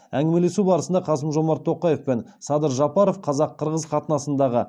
әңгімелесу барысында қасым жомарт тоқаев пен садыр жапаров қазақ қырғыз қатынасындағы